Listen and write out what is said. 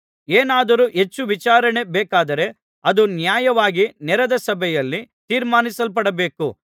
ಏನಾದರೂ ಹೆಚ್ಚು ವಿಚಾರಣೆ ಬೇಕಾದರೆ ಅದು ನ್ಯಾಯವಾಗಿ ನೆರೆದ ಸಭೆಯಲ್ಲಿ ತೀರ್ಮಾನಿಸಲ್ಪಡಬೇಕು